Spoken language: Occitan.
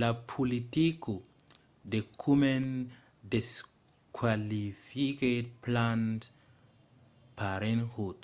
la politica de komen desqualifiquèt planned parenthood